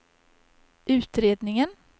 utredningen